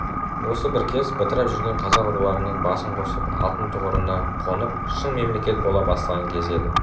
осы бір кез бытырап жүрген қазақ руларының басын қосып алтын тұғырына қонып шын мемлекет бола бастаған кез еді